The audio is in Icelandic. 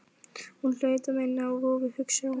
Hún hlaut að minna á vofu, hugsaði hún.